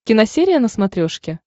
киносерия на смотрешке